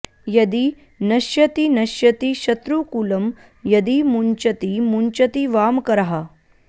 यदि नश्यति नश्यति शत्रुकुलं यदि मुञ्चति मुञ्चति वामकरः